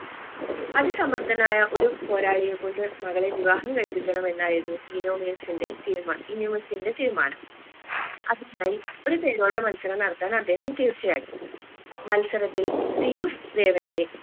അതിസമ്മർദ്ധനായ ഒരു പോരാളിയെ കൊണ്ട് മകളെ വിവാഹം കഴിപ്പിക്കണമെന്നായിരുന്നു ഇനോമിയസിന്റെ തീരുമാനം ഇനോമിയസിന്റെ തീരുമാനം അതിനായി ഒരു തേരോട്ട മത്സരം നടത്താൻ അദ്ദേഹം തീർച്ചയാക്കി മത്സരത്തിൽ സിയൂസ് ദേവന്റെ